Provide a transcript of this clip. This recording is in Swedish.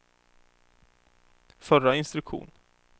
förra instruktion